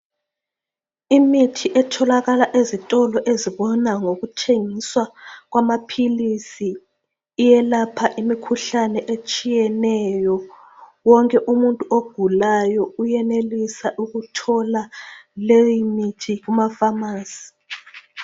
Imithi etholakala ezitolo ezibona ngokuthengiswa kwamaphilisi iyelapha imikhuhlane etshiyetshiyeneyo . Wonke umuntu ogulayo uyenelisa ukuthola leyimithi kumafamasi